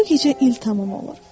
“Bu gecə il tamam olur.